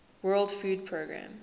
world food programme